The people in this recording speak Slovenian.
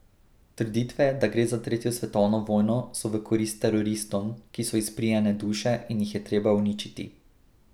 Trditve, da gre za tretjo svetovno vojno, so v korist teroristom, ki so izprijene duše in jih je treba uničiti.